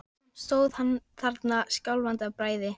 Straumurinn hefur náð dekkinu þegar komið var út fyrir nesoddann.